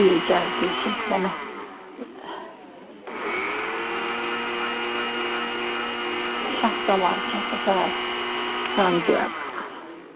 Deyir gəl deyib ki, bir dənə Şah damarını kəsib, hə, qan göyə qalxıb.